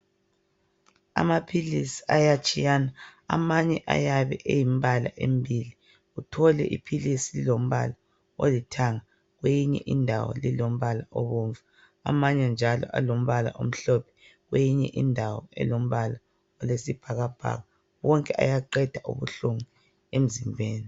Amaphilisi ayatshiyana, amanye ayabe elembala embili, uthole iphilisi lilombala olithanga kweyinye indawo lilombala obomvu. Amanye njalo alombala omhlophe kweyinye indawo elombala oyisibhakabhaka. Wonke ayaqeda ubuhlungu emzimbeni.